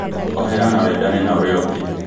Ohera na wendane na ũrĩa ũngĩ